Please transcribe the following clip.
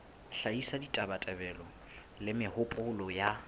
hlahisa ditabatabelo le mehopolo ya